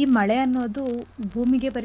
ಈ ಮಳೆ ಅನ್ನೋದು ಭೂಮಿಗೆ ಬರೀ ತಂಪಷ್ಟೇ.